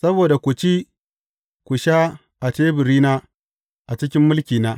Saboda ku ci, ku sha a teburina a cikin mulkina.